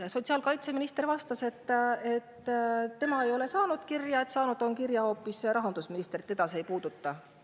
Aga sotsiaalkaitseminister vastas, et tema ei ole seda kirja saanud, selle on saanud hoopis rahandusminister, ja teda see ei puuduta.